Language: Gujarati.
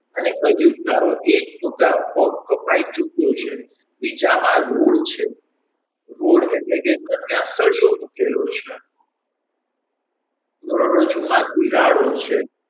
અને કહ્યું તારો એક પગ તો કપાઈ ચૂક્યો છે બીજામાં Road છે Road એટલે કે ત્યાં એક પ્રકારનો સળીયો મુકેલો છે કરોડરજ્જુમાં તિરાડો છે.